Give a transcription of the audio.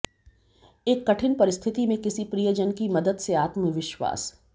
एक कठिन परिस्थिति में किसी प्रियजन की मदद से आत्मविश्वास